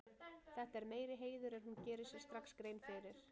Þetta er meiri heiður en hún gerir sér strax grein fyrir.